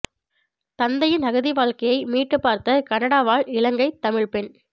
தந்தையின் அகதி வாழ்க்கையை மீட்டுப்பார்த்த கனடா வாழ் இலங்கை தமிழ்ப் பெண்